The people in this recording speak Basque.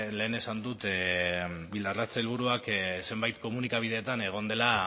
lehen esan dut bildarratz sailburua zenbait komunikabideetan egon dela